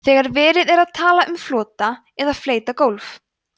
þegar verið er að tala um flota eða fleyta gólf